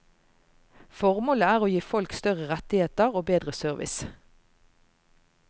Formålet er å gi folk større rettigheter og bedre service.